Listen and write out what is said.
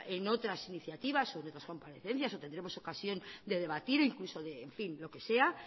en otras iniciativas o comparecencias que tendremos ocasión de debatir incluso en fin lo que sea